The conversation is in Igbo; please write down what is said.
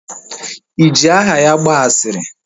Iji aha ya gbaa asịrị?